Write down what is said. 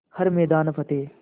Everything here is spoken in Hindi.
हर मैदान फ़तेह